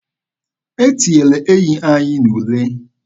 E tinyere enyi anyị n'ule.